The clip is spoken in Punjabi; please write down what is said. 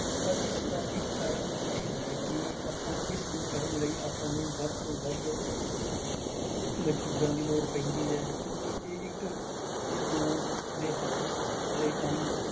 But ਇਸਦਾ ਇੱਕ ਕਾਰਣ ਇਹ ਹੈ ਕਿ ਆਪਾਂ ਇਸਨੂੰ ਕਰਨ ਲਈ ਆਪਾਂ ਨੂੰ ਵੱਧ ਤੋਂ ਵੱਧ ਮਜ਼ਦੂਰਾਂ ਦੀ ਲੋੜ ਪੈਂਦੀ ਹੈ ਕਿਉਂਕਿ ਇਹ ਇੱਕ ਜਾਂ ਦੋ ਦੇ ਹੱਥ ਦੇ ਕੰਮ